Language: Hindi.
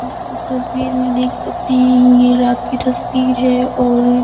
इस तस्वीर में देख सकते है। ये रात कि तस्वीर है और --